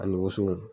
Ani woso